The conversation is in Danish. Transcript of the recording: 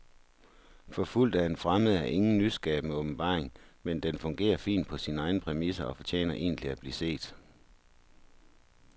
Forfulgt af en fremmed er ingen nyskabende åbenbaring, men den fungerer fint på sine egne præmisser og fortjener egentlig at blive set.